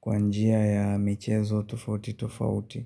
kwa njia ya michezo tofauti tofauti.